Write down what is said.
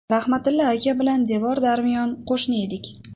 Rahmatilla aka bilan devor-darmiyon qo‘shni edik.